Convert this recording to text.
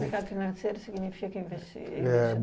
Mercado financeiro significa investi